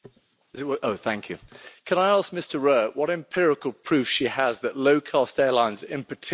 Can I ask Ms Rowett what empirical proof she has that low cost airlines in particular affect the climate.